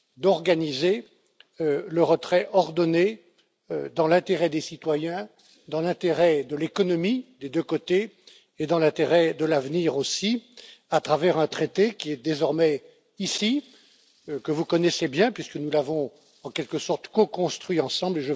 d'organiser le retrait ordonné dans l'intérêt des citoyens, dans l'intérêt de l'économie, des deux côtés, et dans l'intérêt de l'avenir aussi, à travers un traité qui est désormais ici, que vous connaissez bien puisque nous l'avons en quelque sorte, co construit ensemble.